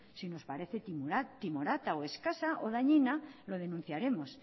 si nos parece timorata o escasa o dañina lo denunciaremos